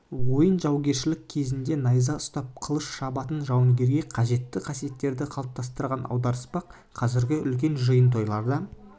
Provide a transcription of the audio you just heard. ойын жаугершілік кезінде найза ұстап қылыш шабатын жауынгерге қажетті қасиеттерді қалыптастырған аударыспақ қазіргі үлкен жиын-тойларда